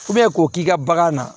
k'o k'i ka bagan na